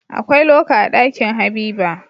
Akwai loka a Ɗakin habiba